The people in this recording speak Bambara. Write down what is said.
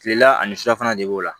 Kilela ani su fana de b'o la